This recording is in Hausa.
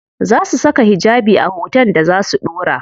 Za su saka hijabi a hoton da za su ɗora?